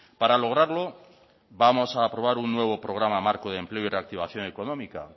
para lograrlo vamos a aprobar un nuevo programa marco de empleo y reactivación económica